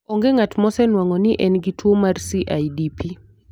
Onge ng'at mosenwang'o ni en gi tuwo mar CIDP.